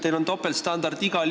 Teil on igal juhul topeltstandardid.